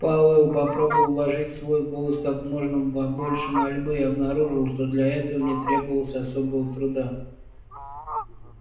пауэлл попробовал вложить в свой голос как можно больше мольбы и обнаружил что для этого не требовалось особого труда